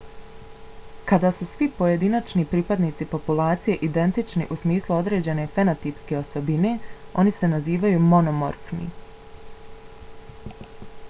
kada su svi pojedinačni pripadnici populacije identični u smislu određene fenotipske osobine oni se nazivaju monomorfni